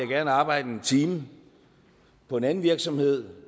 vil arbejde en time på en anden virksomhed